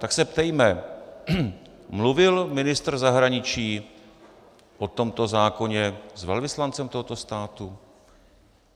Tak se ptejme: Mluvil ministr zahraničí o tomto zákoně s velvyslancem tohoto státu?